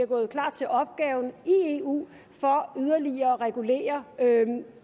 gået klart til opgaven i eu for yderligere at regulere